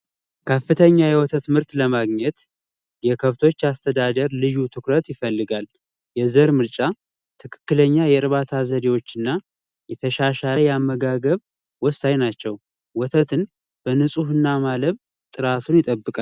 ከፍተኛ የወተት ምርት ለማግኘት የከብቶች አስተዳደር ልዩ ትኩረት ይፈልጋል። የዘር ምርጫ ትክክለኛ የዕርባታ ዘዴዎችን እና የተሻሻለ አመጋገብ ወሳኝ ናቸው። ወተትን በንፅህና ማለብ ጥራቱን ይጠበቃል።